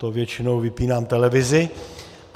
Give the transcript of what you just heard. To většinou vypínám televizi.